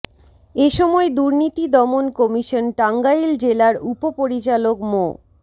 এ সময় দুর্নীতি দমন কমিশন টাঙ্গাইল জেলার উপপরিচালক মো